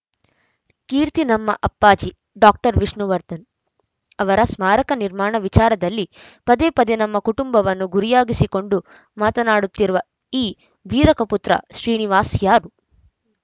ಕೀರ್ತಿ ನಮ್ಮ ಅಪ್ಪಾಜಿ ಡಾಕ್ಟರ್ ವಿಷ್ಣುವರ್ಧನ್‌ ಅವರ ಸ್ಮಾರಕ ನಿರ್ಮಾಣದ ವಿಚಾರದಲ್ಲಿ ಪದೇ ಪದೇ ನಮ್ಮ ಕುಟುಂಬವನ್ನು ಗುರಿಯಾಗಿಸಿಕೊಂಡು ಮಾತನಾಡುತ್ತಿರುವ ಈ ವೀರಕಪುತ್ರ ಶ್ರೀನಿವಾಸ್‌ ಯಾರು